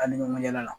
An ni ɲɔgɔn ɲɛna